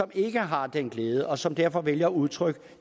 ikke har den glæde og som derfor vælger at udtrykke